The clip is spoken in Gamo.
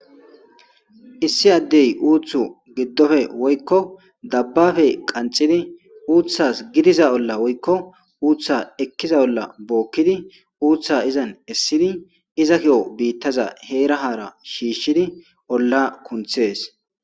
issi addey uuthu giddofe woykko dabbafe qanxidi uuththas gidiza olla woykko uutha ekkiza olla bookkidi uutha izan essidi iza ki7o biittaza heerahara shiishshidi olla kunthees